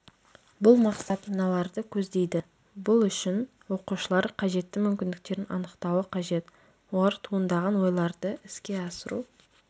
бұл мақсат мыналарды көздейді бұл үшін оқушылар қажетті мүмкіндіктерін анықтауы қажет олар туындаған ойларды іске асыру